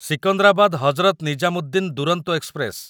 Secunderabad Hazrat Nizamuddin Duronto express